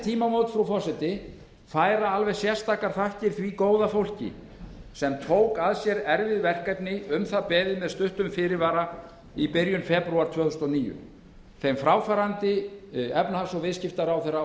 tímamót frú forseti færa alveg sérstakar þakkir því góða fólki sem tók að sér erfið verkefni um það beðið með stuttum fyrirvara í byrjun febrúar tvö þúsund og níu þeim fráfarandi efnahags og viðskiptaráðherra og